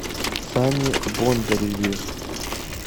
сане бондареве